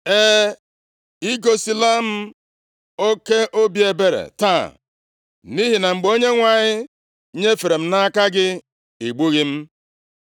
E, i gosila m oke obi ebere taa, nʼihi na mgbe Onyenwe anyị nyefere m nʼaka gị, ị gbughị m.